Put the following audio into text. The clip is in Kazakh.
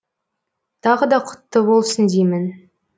тағы да құтты болсын деймін